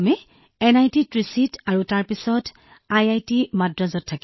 হয় হয় তাত আমি এনআইটি ত্ৰিচীত থাকিলো তাৰ পিছত আইআইটি মাদ্ৰাজত